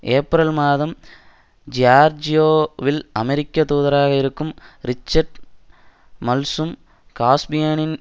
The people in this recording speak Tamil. ஏப்ரல் மாதம் ஜியார்ஜியோவில் அமெரிக்க தூதராக இருக்கும் ரிச்சர்ட் மல்சும் காஸ்பியனின்